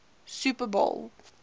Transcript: super bowl